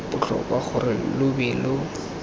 botlhokwa gore lo be lo